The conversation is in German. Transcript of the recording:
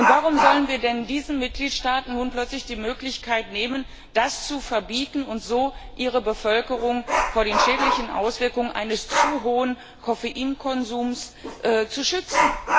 Warum sollen wir denn diesen Mitgliedstaaten nun plötzlich die Möglichkeit nehmen, das zu verbieten und so ihre Bevölkerung vor den schädlichen Auswirkungen eines zu hohen Koffeinkonsums zu schützen?